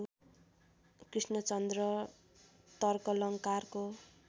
Krishnachandra तर्कलंकारको